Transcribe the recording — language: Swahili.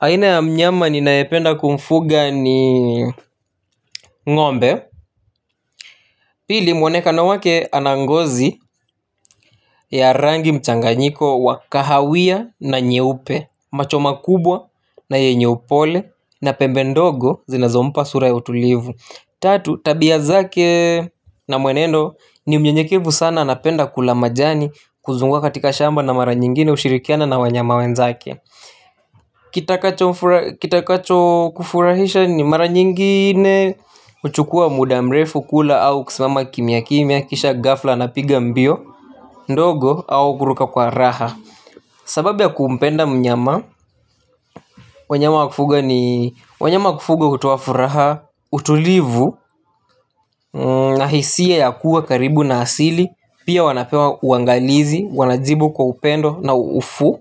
Aina ya mnyama ninayependa kumfuga ni ng'ombe. Pili mwonekano wake anangozi ya rangi mchanganyiko wa kahawia na nyeupe. Macho makubwa na yenye upole na pembe ndogo zinazo mpa sura ya utulivu. Tatu tabia zake na mwenendo ni mnyenyekevu sana napenda kula majani. Kuzungua katika shamba na mara nyingine hushirikiana na wanyama wenzake. Kitakacho kufurahisha ni mara nyingine uchukua mudamrefu kula au kusimama kimia kimia. Kisha gafla anapiga mbio. Ndogo au kuruka kwa raha. Sababu ya kumpenda mnyama wanyama wa kufuga ni wanyama kufuga hutoa furaha. Utulivu. Nahisie ya kuwa karibu na asili. Pia wanapewa uangalizi. Wanajibu kwa upendo na uufu.